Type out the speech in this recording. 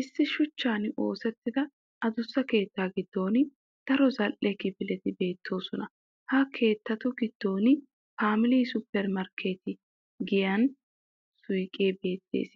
Issi shuchchan oosettida adussa keettaa giddon daro zal'e kifileti beettoosona. Ha keettatu giddon "family super market" giyaan suuqee beettes